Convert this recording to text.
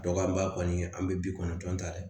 Dɔgɔ an ba kɔni an be bi kɔnɔntɔn ta dɛ